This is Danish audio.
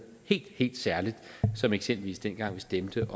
helt helt særligt som eksempelvis dengang vi stemte